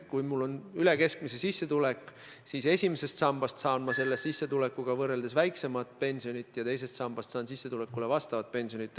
Kui mul on üle keskmise sissetulek, siis ma saan esimesest sambast selle sissetulekuga võrreldes väiksemat pensionit, teisest sambast aga sissetulekulule vastavat pensionit.